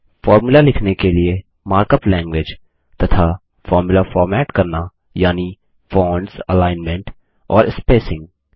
formula लिखने के लिए मार्कअप लैंगग्वेज तथा फोर्मुला फॉर्मेट करना यानि फ़ोंट्स अलाइनमेंट और स्पेसिंग